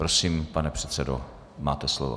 Prosím, pane předsedo, máte slovo.